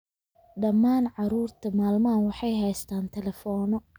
Dhammaan carruurta maalmahan waxay haystaan ​​telefoonno